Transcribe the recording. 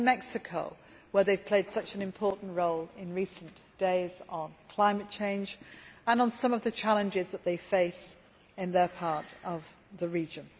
and in Mexico, where they have played such an important role in recent days, on climate change and on some of the challenges that they face in their part of the region.